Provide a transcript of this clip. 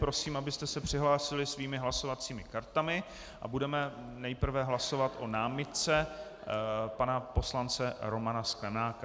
Prosím, abyste se přihlásili svými hlasovacími kartami, a budeme nejprve hlasovat o námitce pana poslance Romana Sklenáka.